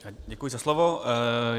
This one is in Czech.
Děkuji za slovo.